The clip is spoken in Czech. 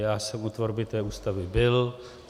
Já jsem u tvorby té Ústavy byl.